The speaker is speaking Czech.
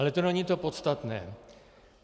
Ale to není to podstatné.